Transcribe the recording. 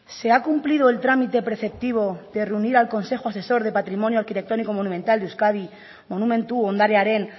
se ha cumplido el trámite preceptivo de reunir al consejo asesor de patrimonio arquitectónico monumental de euskadi monumentu ondarearen